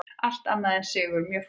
Allt annað en sigur mjög fúlt